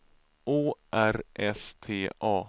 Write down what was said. Å R S T A